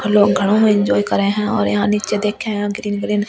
लोग खड़ो है एंजॉय करें हैं और यहां नीचे देखे हैं ग्रीन ग्रीन घास ।